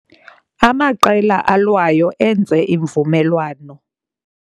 Amaqela alwayo enze imvumelwano